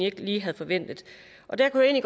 ikke lige havde forventet der kunne jeg